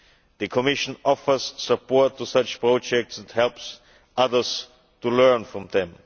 end. The Commission offers support to such projects and helps others to learn from them.